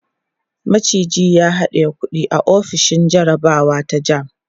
maciji ya haɗiye kuɗi a ofishin jarabawa ta JAMB